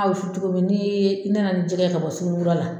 A wusu cogo min ni ye, i nana nin jɛgɛ ye ka bɔ suguni kura la